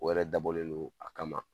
O yɛrɛ dabɔlen don a kama.